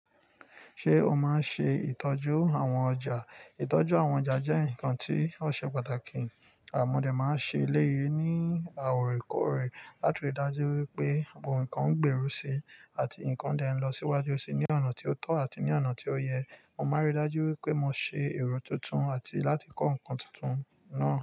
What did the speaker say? Ṣé o máa ń ṣe ìtọ́jú àwọn ọjà? Ìtọ́jú àwọn ọjà jẹ́ nǹkan tí ó ṣe pàtàkì. À mọ dé máa ń ṣe eléyii ní à òrekòòrè láti rí i dájú wípé ohun kan ń gberú si àti ǹkan dẹ n lọ síwájú síi ní ọ̀nà tí ó tọ́ àti ní ọ̀nà tí ó yẹ. Mo máa ń rí i dájú wípé mo ṣe èrò tuntun àti láti kọ́ ǹkan tuntun náà.